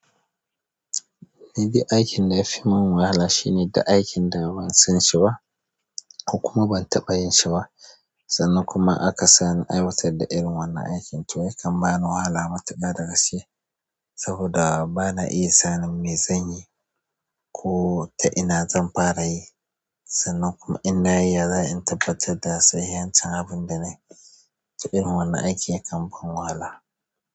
Ni dai aikin da ya fi mun wahala shine da aikin da ban shi ba, ko kuma ban taɓa yin shi ba. Sannan kuma aka sani in aiwatar da irin wannan aikin, to yakan bani wahala matuƙa da gaske. Saboda bana iya sanin me zan yi, ko ta ina zan fara yi. Sannan kuma in nayi, ya za'ayi in tabbatar da sahihancin abunda na yi. Irin wannan aiki yakan ban wahala.